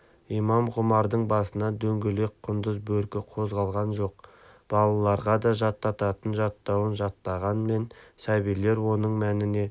имам ғұмардың басынан дөңгелек құндыз бөркі қозғалған жоқ балаларға да жаттататын жаттауын жаттағанмен сәбилер оның мәніне